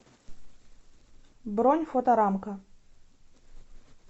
бронь фоторамка